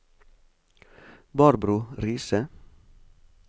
Barbro Riise